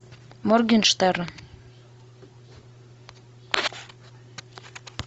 моргенштерн